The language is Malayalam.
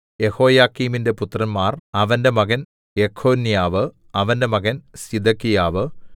യെഹോയാക്കീമിന്റെ പുത്രന്മാർ അവന്റെ മകൻ യെഖൊന്യാവ് അവന്റെ മകൻ സിദെക്കിയാവ്